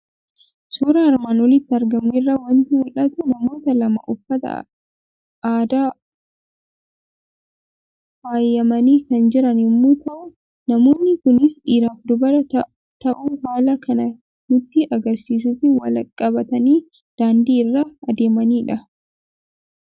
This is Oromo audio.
Suuraa armaan olitti argamu irraa waanti mul'atu; namoota lama uffata aadaa Iluun faayamani kan jiran yommuu ta'u, namoonni kuns dhiiraaf dubara ta'uu haalan kan nutti agarsiisufi wal qabatani daandii irra adeemanidha.